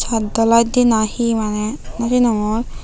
chatlaide na hi maneh naw sinongor.